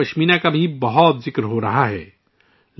لداخی پشمینہ کا بھی کچھ عرصے سے کافی چرچا ہو رہا ہے